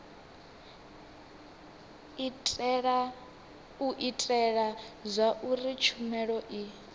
u itela zwauri tshumelo i